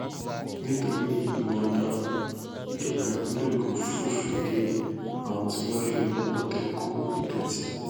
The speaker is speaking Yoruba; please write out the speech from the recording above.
nítorí ìwà ọdaràn ìjọba ìpínlẹ ogun fòfin de àwọn tí wọn ń fi ọmọlanke kọ ìdọtí